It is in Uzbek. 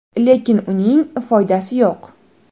Lekin uning foydasi yo‘q.